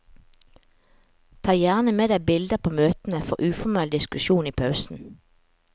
Ta gjerne med deg bilder på møtene for uformell diskusjon i pausen.